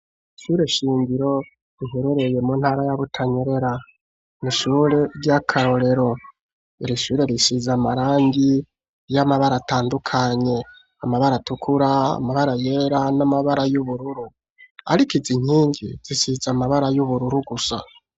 Ishure shingiro riherereye mu ntara ya Butanyerera. Ni ishure ry'akarorero. Iri shure risize amarangi y'amabara atandukanye: amabara atukura, amabara yera n'amabara y'ubururu, ariko izi nkingi zisize amabara y'ubururu gusa.